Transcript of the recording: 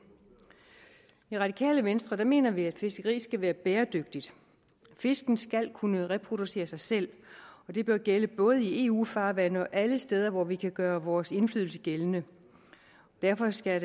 i radikale venstre mener vi at fiskeriet skal være bæredygtigt fiskene skal kunne reproducere sig selv og det bør gælde både i eu farvande og alle de steder hvor vi kan gøre vores indflydelse gældende derfor skal